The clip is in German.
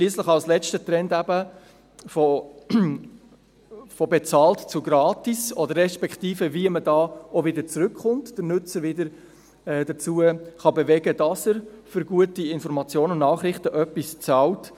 Schliesslich als letzter Trend «von bezahlt zu gratis», respektive wie man wieder zurückkommen und den Nutzer dazu bewegen kann, dass er für gute Informationen und Nachrichten etwas bezahlt: